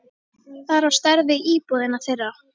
Það er á stærð við íbúðina þeirra.